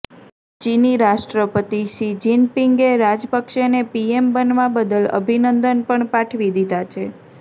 ચીની રાષ્ટ્રપતિ શી જિનપિંગે રાજપક્ષેને પીએમ બનવા બદલ અભિનંદન પણ પાઠવી દીધાં છે